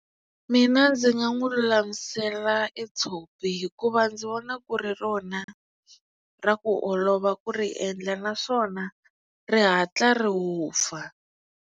Mina ndzi nga n'wi lulamisela e tshopi hikuva ndzi vona ku ri rona ra ku olova ku ri endla naswona ri hatla ri vupfa.